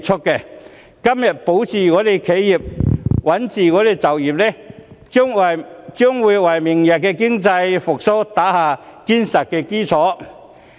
如果今天能保企業、穩就業，將會為明日經濟復蘇打下堅實的基礎。